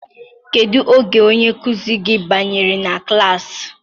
Kedu oge onye nkuzi gị banyere na klassị?